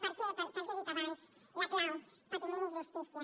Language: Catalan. per què pel que he dit abans la clau patiment i justícia